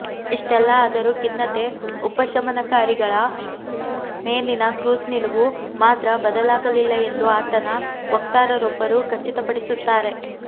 ಇಷ್ಟೆಲ್ಲ ಆದರೂ ಖಿನ್ನತೆ ಉಪಶಮನಕಾರಿಗಳ ಮೇಲಿನಕ್ರೂಸ್ ನಿಲುವು ಮಾತ್ರ ಬದಲಾಗಲಿಲ್ಲ ಎಂದು ಆತನ ವಕ್ತಾರರೊಬ್ಬರು ಖಚಿತಪಡಿಸುತ್ತಾರೆ